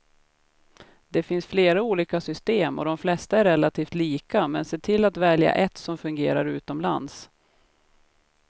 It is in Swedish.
Det finns flera olika system och de flesta är relativt lika, men se till att välja ett som fungerar utomlands.